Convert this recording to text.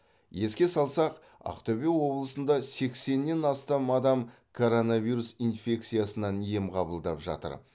еске салсақ ақтөбе облысында сексеннен астам адам коронавирус инфекциясынан ем қабылдап жатыр